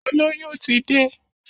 Olóyún ti dé